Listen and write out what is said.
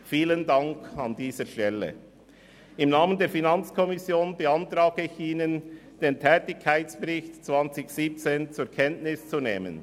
Im Namen der FiKo beantrage ich Ihnen, den Tätigkeitsbericht 2017 zur Kenntnis zu nehmen.